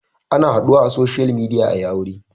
Ana haɗuwa a social media ayi aure